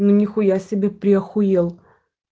ну нихуя себе приахуел